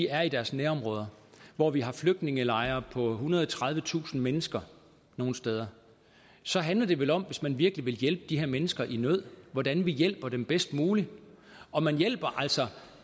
er i deres nærområder hvor vi har flygtningelejre med og tredivetusind mennesker nogle steder så handler det vel om hvis man virkelig vil hjælpe de her mennesker i nød hvordan vi hjælper dem bedst muligt og man hjælper altså